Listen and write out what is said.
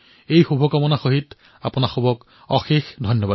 এই শুভকামনাৰ সৈতে আপোনালোক সকলোলৈ অশেষ ধন্যবাদ